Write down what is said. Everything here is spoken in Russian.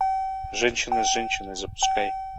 женщина с женщиной запускай